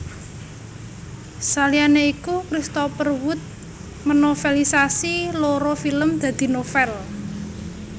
Saliyane iku Christopher Wood menovelisasi loro film dadi novel